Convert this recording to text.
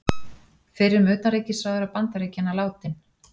Fyrrum utanríkisráðherra Bandaríkjanna látinn